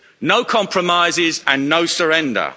No compromises and no surrender.